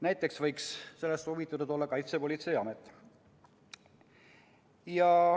Näiteks võiks sellest huvitatud olla Kaitsepolitseiamet.